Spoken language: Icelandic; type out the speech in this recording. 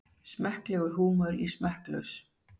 Smekklegur húmor í smekklaus